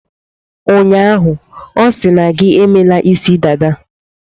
Ụnyaahụ, ọ sị na gi emela isi dada.